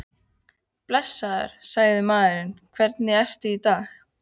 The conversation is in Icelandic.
Blessaður, sagði maðurinn, hvernig ertu í dag?